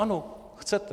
Ano, chcete.